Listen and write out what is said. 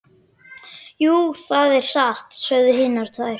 Jú, það er satt, sögðu hinar tvær.